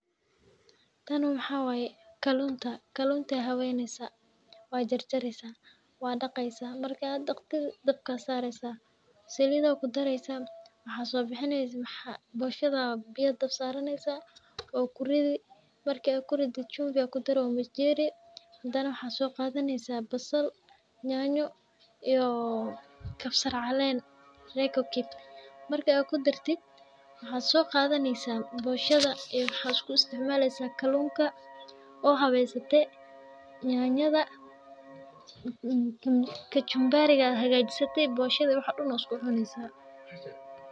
Waa maxay kalluunta habeen la sameynayo? Jar-jaraysa, dhaqaysaa, dadbaa saari, saliid ku dari, bushada biyoheedana dabka saaraysa. Waxaad ku ridaysaa (chumvi). Waxaad ku dari majariin. Waxa soo qadaya basal, yaanyo, kabsar, caleen iyo (Royco cube) waa la ku dari. Waxaad soo qadaya bushada iyo kalluunka isku isticmaalaysa oo habaysatay. Yaanyada (kachumbari) ka dibna waad isugu cunaysaa.